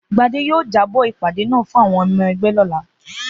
Gbadé yóò jábó̩ ìpàdé náà fún àwo̩n o̩mo̩ e̩gbé̩ rè̩ ló̩la